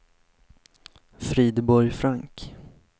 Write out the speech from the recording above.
Frideborg Frank